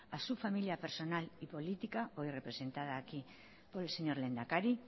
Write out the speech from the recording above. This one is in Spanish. a su familia personal y política hoy representada aquí por el señor lehendakari